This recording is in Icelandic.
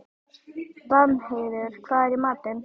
Danheiður, hvað er í matinn?